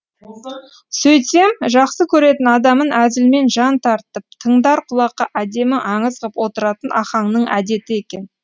сөйтсем жақсы көретін адамын әзілмен жан тартып тыңдар құлаққа әдемі аңыз ғып отыратын ахаңның әдеті екен